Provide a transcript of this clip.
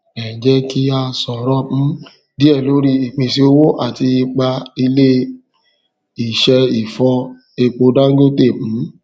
ẹjẹ kí a sọrọ um díẹ lórí ìpèsè owó àti ipá ilé ìṣe ìfọ epo dangote um